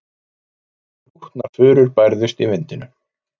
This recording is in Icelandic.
Þrútnar furur bærðust í vindinum.